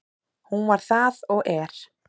Hún var það og er.